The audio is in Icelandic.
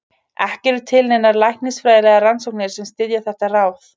Ekki eru til neinar læknisfræðilegar rannsóknir sem styðja þetta ráð.